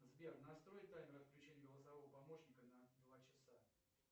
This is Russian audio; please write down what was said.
сбер настрой таймер включения голосового помощника на два часа